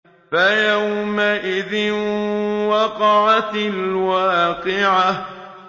فَيَوْمَئِذٍ وَقَعَتِ الْوَاقِعَةُ